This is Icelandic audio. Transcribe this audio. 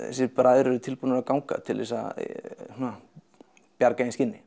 þessir bræður eru tilbúnir að ganga til þess að bjarga eigin skinni